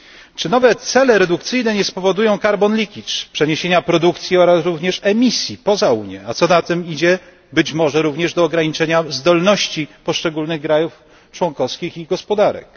Czy nowe cele redukcyjne nie spowodują carbon leakage przeniesienia produkcji oraz również emisji poza Unię, a co za tym idzie być może również ograniczenia zdolności poszczególnych krajów członkowskich i ich gospodarek?